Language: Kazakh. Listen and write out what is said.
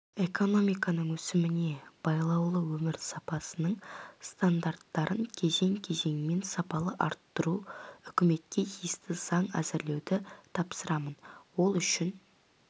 экономиканың өсіміне байлаулы өмір сапасының стандарттарын кезең-кезеңмен сапалы арттыру үкіметке тиісті заң әзірлеуді тапсырамын ол үшін